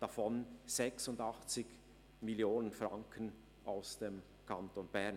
Davon kamen Exporte im Betrag von 86 Mio. Franken aus dem Kanton Bern.